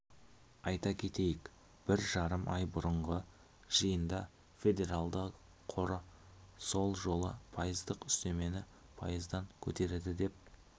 айта кетейік бір жарым ай бұрынғы жиында федералды қоры сол жолы пайыздық үстемені пайыздан көтереді деп